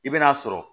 I bɛn'a sɔrɔ